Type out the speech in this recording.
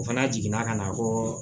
O fana jiginna ka na ko